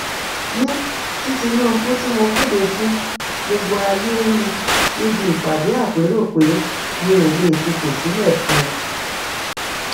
ní tinúbù tí mo kéde fún gbogbo ayé rí níbi ìpàdé àpérò pé mi ò lè fipò sílẹ fún